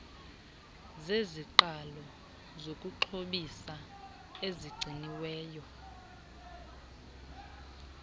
zeziqalo zokuxhobisa ezigciniweyo